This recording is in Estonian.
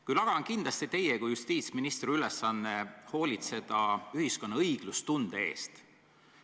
Küll aga on kindlasti teie kui justiitsministri ülesanne hoolitseda ühiskonna õiglustunde eest.